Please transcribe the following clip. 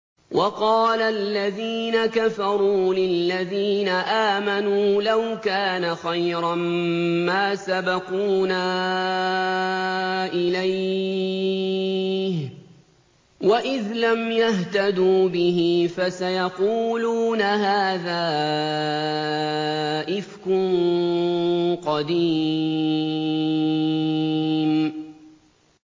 وَقَالَ الَّذِينَ كَفَرُوا لِلَّذِينَ آمَنُوا لَوْ كَانَ خَيْرًا مَّا سَبَقُونَا إِلَيْهِ ۚ وَإِذْ لَمْ يَهْتَدُوا بِهِ فَسَيَقُولُونَ هَٰذَا إِفْكٌ قَدِيمٌ